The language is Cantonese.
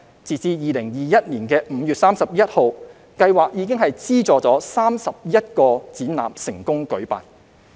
截至2021年5月31日，計劃已資助31個展覽成功舉辦。